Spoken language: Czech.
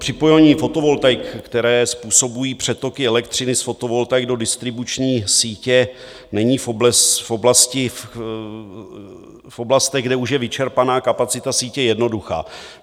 Připojení fotovoltaik, které způsobují přetoky elektřiny z fotovoltaik do distribuční sítě, není v oblastech, kde už je vyčerpaná kapacita sítě, jednoduché.